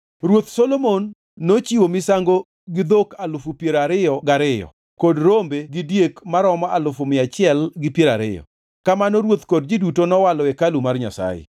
Ruoth Solomon nochiwo misango gi dhok alufu piero ariyo gi ariyo kod rombe gi diek maromo alufu mia achiel gi piero ariyo. Kamano ruoth kod ji duto nowalo hekalu mar Nyasaye.